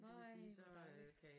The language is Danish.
Nej hvor dejligt